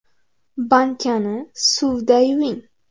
Bankani suvda yuving.